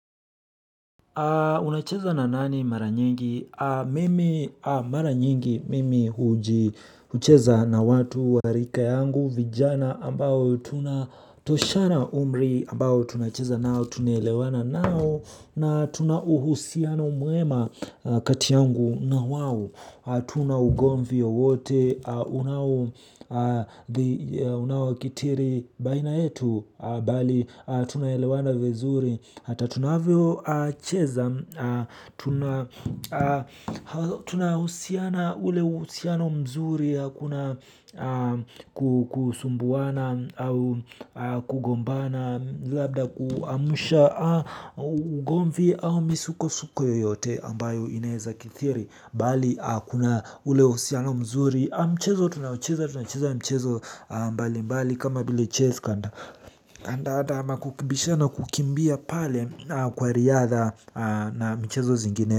Unacheza na nani mara nyingi? Mimi mara nyingi mimi hucheza na watu wa rika yangu, vijana ambao tunatoshana umri, ambao tunacheza nao, tunaelewana nao. Na tuna uhusiano mwema kati yangu nao, hatuna ugomvi wowote unaotokea baina yetu, bali tunaelewana vizuri, hata tunapocheza. Tunahusiana, ule uhusiano mzuri, hakuna kusumbuana au kugombana, labda kuchochea ugomvi au misukosuko yoyote ambayo inaweza kutokea, bali kuna ule uhusiano mzuri. Michezo tunayocheza tunacheza michezo tofauti tofauti kama vile chess card, kandanda ama kukimbishana, kukimbia pale kwa riadha na michezo.